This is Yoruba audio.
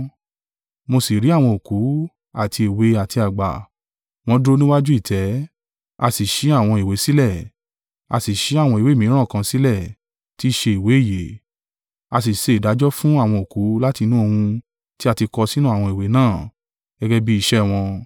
Mo sì rí àwọn òkú, àti èwe àti àgbà, wọn dúró níwájú ìtẹ́; a sì ṣí àwọn ìwé sílẹ̀; a sì ṣí àwọn ìwé mìíràn kan sílẹ̀ tí í ṣe ìwé ìyè: a sì ṣe ìdájọ́ fún àwọn òkú láti inú ohun tí a ti kọ sínú àwọn ìwé náà, gẹ́gẹ́ bí iṣẹ́ wọn.